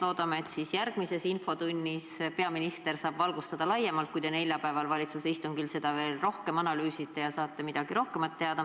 Loodame, et järgmises infotunnis peaminister saab valgustada seda teemat laiemalt, kui te neljapäeval valitsuse istungil seda veel rohkem analüüsite ja saate midagi rohkemat teada.